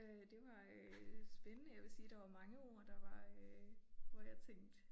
Øh det var øh spændende jeg vil sige der var mange ord der var øh hvor jeg tænkte